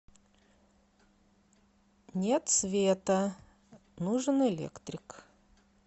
нет света нужен электрик